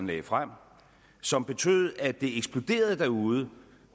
lagde frem som betød at det eksploderede derude